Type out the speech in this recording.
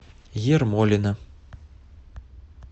ермолино